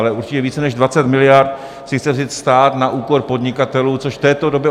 Ale určitě více než 20 miliard si chce vzít stát na úkor podnikatelů, což v této době...